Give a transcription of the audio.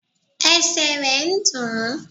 Esè re n dùn ún